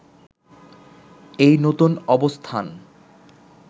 এই নতুন অবস্থান